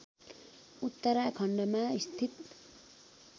उत्तराखण्डमा स्थित